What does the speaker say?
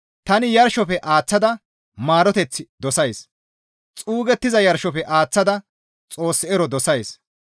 Tani yarshofe aaththada maaroteth dosays. Xuugettiza yarshofe aaththada Xoos ero dosays.